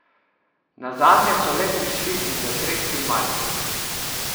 Nazadnje so le prišli in zatresli Maribor.